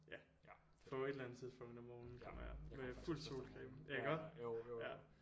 Ja på et eller andet tidspunkt om morgenen kommer jeg med fuld solcreme ja iggå ja